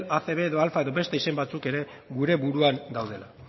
acb edo alfa edo beste izen batzuk ere gure buruan daudela